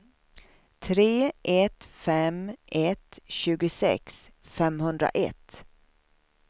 tre ett fem ett tjugosex femhundraett